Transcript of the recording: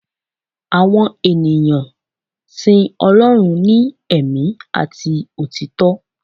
àwọn ènìyàn sìn Ọlọrun ní ẹ̀mí ati òtítọ